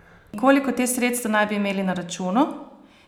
In koliko teh sredstev naj bi imeli na računu?